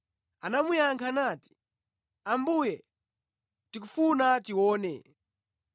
Anamuyankha nati, “Ambuye, tikufuna tione!”